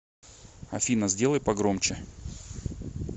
афина сделай погромче